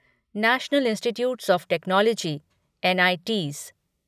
national institutes of technology NITs